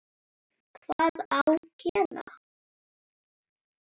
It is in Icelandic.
Hvað á gera?